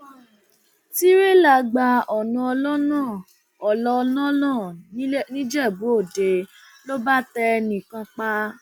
tìrẹlà gba ọnà ọlọnà ọnà ọlọnà nìjẹbúòde ló bá tẹ ẹnì kan pa